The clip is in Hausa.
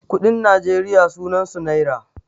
kuɗin najeriya sunansu naira